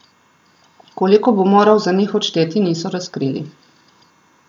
Koliko bo moral za njih odšteti, niso razkrili.